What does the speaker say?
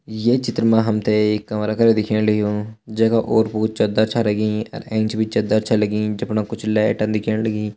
ये चित्र मा हम ते एक कमरा करा दिखेण लग्युं जै का ओर पोर चदर छा लगीं अर एंच भी चदर छ लगीं जफण कुछ लैटन दिखेण लगीं।